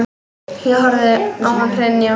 Ég horfði á hann hrynja.